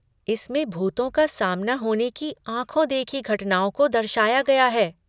इसमें भूतों का सामना होने की आँखो देखी घटनाओं को दर्शाया गया है।